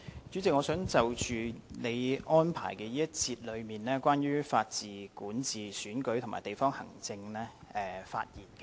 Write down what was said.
主席，我想就你安排關於法治、管治、選舉及地區行政的這一節發言。